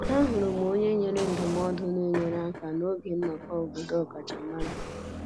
Ahụrụ m onye nyere ndụmọdụ na-enyere aka n'oge nnọkọ obodo ọkachamara